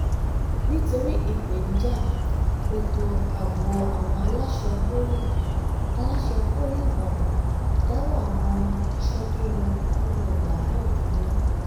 nítorí ìpèníjà ètò ààbò àwọn aláṣẹ poli aláṣẹ poli ìbàdàn dáwọ́ àwọn iṣẹ́ tó ń lọ nínú ọgbà náà dúró